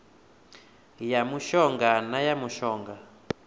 ya mushonga na ya mushonga